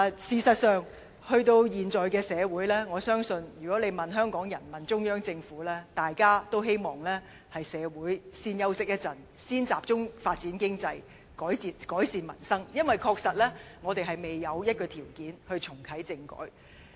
事實上，在現今社會狀況下，我相信如果問香港人和中央政府，大家均會表示，希望社會先休息一會，先集中發展經濟、改善民生，因為我們確實未有條件重啟政改。